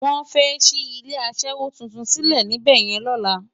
Wòn fè ṣi ilé aṣèwó tútún silé nibèyèn lòlá